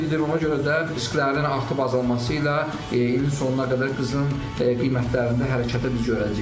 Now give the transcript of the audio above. Ona görə də risklərin artıb-azalması ilə ilin sonuna qədər qızılın qiymətlərində hərəkəti biz görəcəyik.